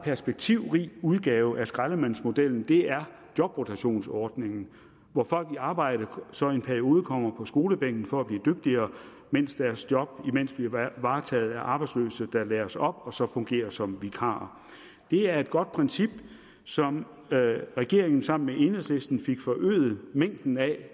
perspektivrig udgave af skraldemandsmodellen er jobrotationsordningen hvor folk i arbejde så i en periode kommer på skolebænken for at blive dygtigere mens deres job bliver varetaget af arbejdsløse der læres op og så fungerer som vikarer det er et godt princip som regeringen sammen med enhedslisten fik forøget mængden af